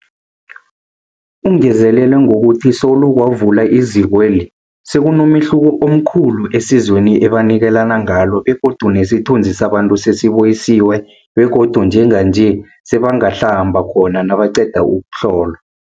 Ungezelele ngokuthi solo kwavulwa izikweli, sekunomehluko omkhulu esizweni ebanikelana ngalo begodu nesithunzi sabantu sesibuyisiwe begodu njenganje sebangahlamba khona nabaqeda ukuhlolwa.